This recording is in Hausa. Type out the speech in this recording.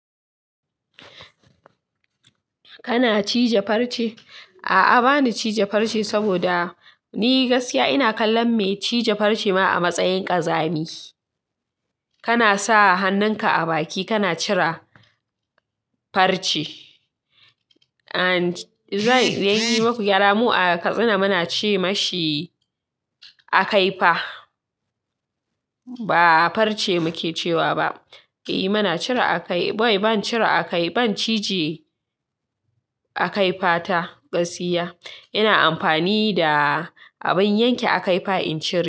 Kana cije farce? A'a, ba ni cije farce saboda ni gaskiya ina kallon mai cije farce ma a matsayin ƙazami. Kana sa hannunka a baki kana cire farce. And zan yi maku gyara. Mu a Katsina muna ce ma shi akaifa. Ba farce muke cewa ba. Eh muna cire akaifa. Wai, ban cire akaifa ba. Ban cije akaifa ta gaskiya. Ina amfani da abin yanke akaifa in cire.